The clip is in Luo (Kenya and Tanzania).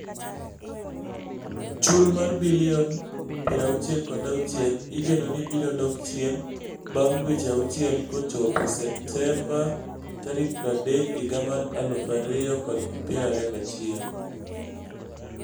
Chul mar bilion 66 igeno ni biro dok chien bang' dweche auchiel kochopo Septemba 30, 2021.